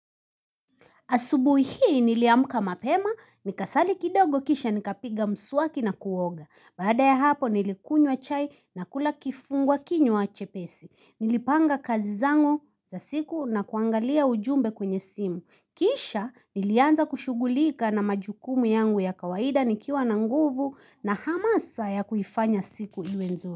Asubuhi hii niliamka mapema, nikasali kidogo kisha nikapiga mswaki na kuoga. Baada ya hapo nilikunywa chai na kula kifungua kinywa chepesi. Nilipanga kazi zangu za siku na kuangalia ujumbe kwenye simu. Kisha nilianza kushughulika na majukumu yangu ya kawaida nikiwa na nguvu na hamasa ya kuifanya siku iwe nzuri.